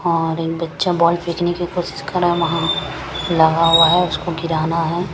और एक बच्चा बॉल फेंकने की कोशिश कर रहा है वहां लगा हुआ है उसको गिराना है।